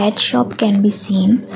at shop can be seen.